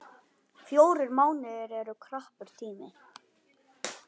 Fjórir mánuðir eru knappur tími.